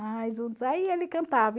Aí ele cantava.